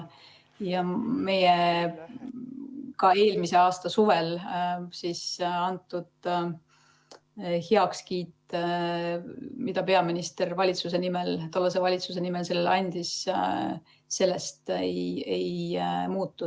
Meie ka eelmise aasta suvel antud heakskiit, mille peaminister tollase valitsuse nimel sellele andis, sellest ei muutu.